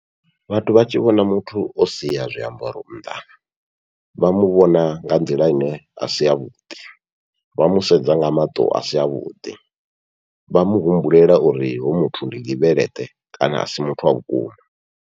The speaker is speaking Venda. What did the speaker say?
Vhathu vha tshi vhona muthu o sia zwiambaro nnḓa vha muvhona nga nḓila ine asi yavhuḓi, vha musedza nga maṱo asi avhuḓi vha muhumbulela uri hoyu muthu ndi ndi veleṱe kana asi muthu wa vhukuma.